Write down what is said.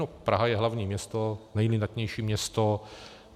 No, Praha je hlavní město, nejlidnatější město.